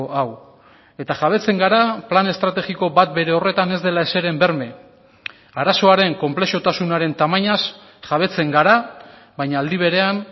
hau eta jabetzen gara plan estrategiko bat bere horretan ez dela ezeren berme arazoaren konplexutasunaren tamainaz jabetzen gara baina aldi berean